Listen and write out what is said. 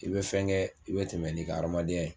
I bɛ fɛn kɛ, i bɛ tɛmɛ n'i ka hadamadenya ye.